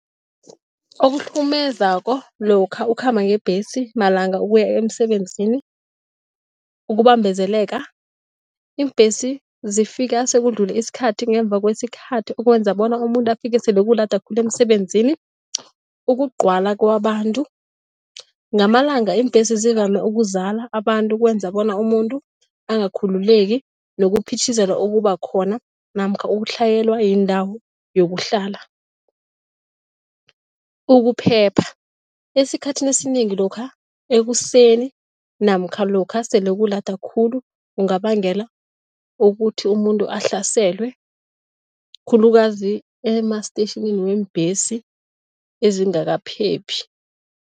Okuhlukumezako lokha ukhamba ngebhesi malanga ukuya emsebenzini, ukubambezeleka. Iimbhesi zifika sekudlule isikhathi, ngemva kwesikhathi, okwenza bona umuntu afike sele sekulada khulu emsebenzini. Ukugcwala kwabantu, ngamalanga iimbhesi zivame ukuzala abantu, kwenza bona umuntu angakhululeki nokuphithizela okuba khona namkha ukutlhayelwa yindawo yokuhlala. Ukuphepha, esikhathini esinengi lokha ekuseni namkha lokha sele kulada khulu kungabangela ukuthi umuntu ahlaselwe khulukazi emastetjhinini weembhesi ezingakaphephi.